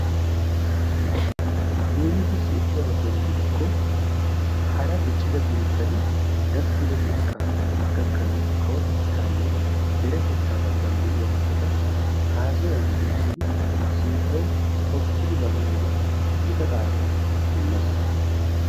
Leemissuwaassi ekkiyaba keena gidikko hara diccida biittati gakkiddo xekkaa gakkanawu kawotettaanne deretettaa baggan de'iya metota haasayan birshidi sinttawu xoqqidi baana mala gita qaadaa immees.